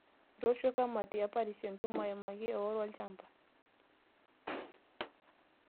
Etoosho kamati e parish entumo aimaki eoro olchamba